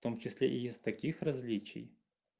том числе и из таких различий